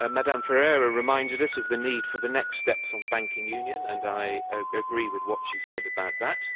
Ms Ferreira reminded us of the need for the next steps on banking union, and I agree with what she said about that.